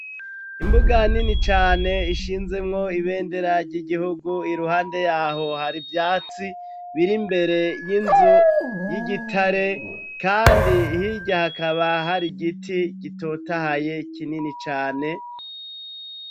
Imbuga nini cane ishinzemwo ibendera ry'igihugu iruhande yaho hari ivyatsi biri imbere y'inzu y'igitare kandi hirya hakaba hari igiti gitotahaye kinini cane.